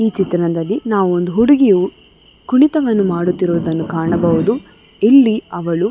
ಈ ಚಿತ್ರಣದಲ್ಲಿ ನಾವು ಒಂದು ಹುಡುಗಿಯು ಕುಣಿತವನ್ನು ಮಾಡುತಿರುವದನ್ನು ಕಾಣಬಹುದು ಇಲ್ಲಿ ಅವಳು --